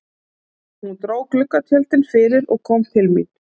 Hún dró gluggatjöldin fyrir og kom til mín.